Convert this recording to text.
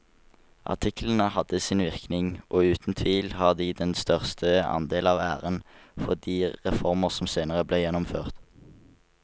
Artiklene hadde sin virkning og uten tvil har de den største andel av æren for de reformer som senere ble gjennomført.